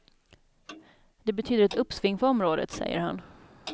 Det betyder ett uppsving för området, säger han.